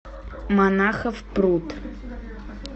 монахов пруд